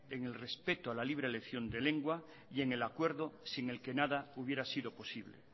en el respeto a la libre elección de lengua y en el acuerdo sin el que nada hubiera sido posible